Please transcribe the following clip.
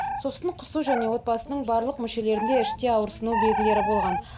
сосын құсу және отбасының барлық мүшелерінде іште ауырсыну белгілері болған